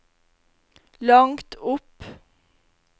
langt opp